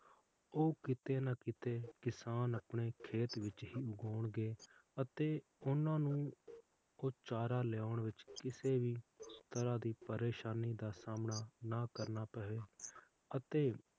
ਉਹ ਕੀਤੇ ਨਾ ਕੀਤੇ ਕਿਸਾਨ ਆਪਣੇ ਖੇਤ ਵਿਚ ਹੀ ਊਗਾਓਂਗੇ ਅਤੇ ਓਹਨਾ ਨੂੰ ਕੋਈ ਚਾਰਾ ਲੈਣ ਵਿਚ ਕਿਸੇ ਵੀ ਤਰ੍ਹਾਂ ਦੀ ਪ੍ਰੇਸ਼ਾਨੀ ਦਾ ਸਾਮਣਾ ਨਾ ਕਰਨਾ ਪਵੇ ਅਤੇ